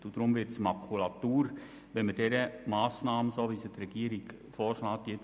Deshalb wird das Gesetz Makulatur, wenn wir der Massnahme zustimmen, so wie sie die Regierung vorschlägt.